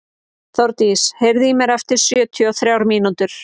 Þórdís, heyrðu í mér eftir sjötíu og þrjár mínútur.